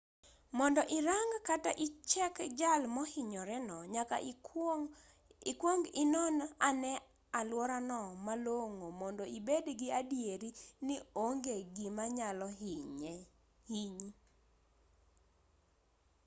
mondo irang kata ichek jal mohinyore no nyaka ikwong inon ane aluorano malong'o mondo ibed gi adieri ni onge gima nyalo hinyi